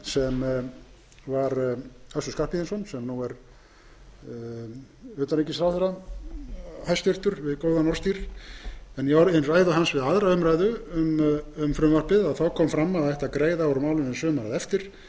sem var össur skarphéðinsson sem nú er hæstvirtur utanríkisráðherra við góðan orðstír en í ræðu hans við við aðra umræðu að greiða ætti úr málinu sumarið